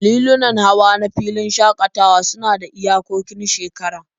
Lilunan hawa na filin shakatawa suna da iyakokin shekara